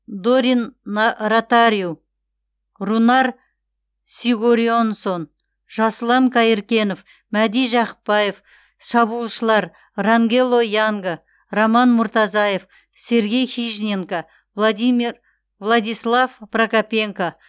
дорин на ротариу рунар сигурьонссон жасұлан қайыркенов мәди жақыпбаев шабуылшылар рангело янга роман муртазаев сергей хижненко владислав прокопенко